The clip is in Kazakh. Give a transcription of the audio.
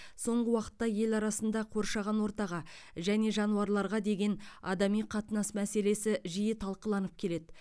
соңғы уақытта ел арасында қоршаған ортаға және жануарларға деген адами қатынас мәселесі жиі талқыланып келеді